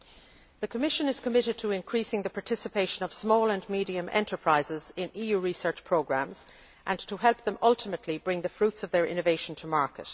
The Commission is committed to increasing the participation of small and medium sized enterprises in EU research programmes and to help them ultimately bring the fruits of their innovation to market.